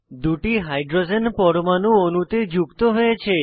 দুটি হাইড্রোজেন পরমাণু অণুতে যুক্ত হয়েছে